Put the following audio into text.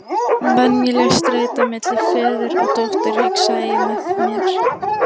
Venjuleg streita milli föður og dóttur, hugsaði ég með mér.